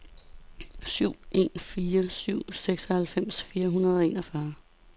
syv en fire syv seksoghalvfems fire hundrede og enogfyrre